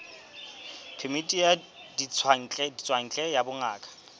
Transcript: phemiti ya ditswantle ya bongaka